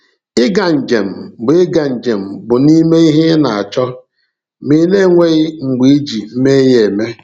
Ịga njem bụ Ịga njem bụ n’ime ihe ị na-achọ, ma ị na-enweghị mgbe iji mee ya eme.